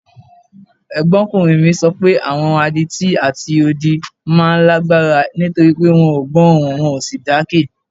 Ẹ̀gbọ́nkùnrin mi sọ páwọn adití àti odi máa ń lágbára nítorí pé wọn ò gbọ́ ohùn wọn ò sì jákè